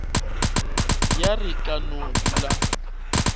ya re ka no dula